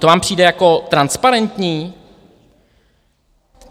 To vám přijde jako transparentní?